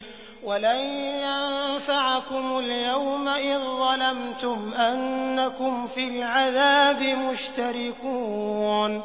وَلَن يَنفَعَكُمُ الْيَوْمَ إِذ ظَّلَمْتُمْ أَنَّكُمْ فِي الْعَذَابِ مُشْتَرِكُونَ